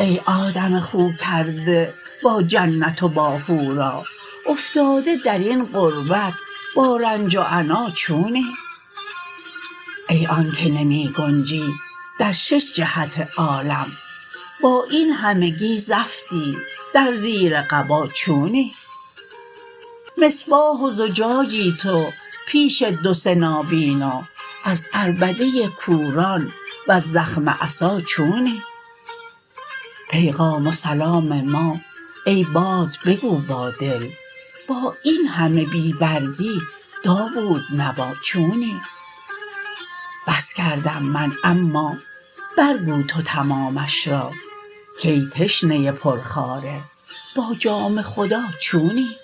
ای آدم خوکرده با جنت و با حورا افتاده در این غربت با رنج و عنا چونی ای آنک نمی گنجی در شش جهت عالم با این همگی زفتی در زیر قبا چونی مصباح و زجاجی تو پیش دو سه نابینا از عربده کوران وز زخم عصا چونی پیغام و سلام ما ای باد بگو با دل با این همه بی برگی داوودنوا چونی بس کردم من اما برگو تو تمامش را کای تشنه پرخواره با جام خدا چونی